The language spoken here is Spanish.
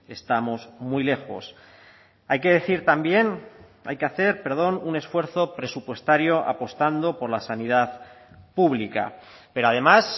estamos muy lejos hay que decir también hay que hacer perdón un esfuerzo presupuestario apostando por la sanidad pública pero además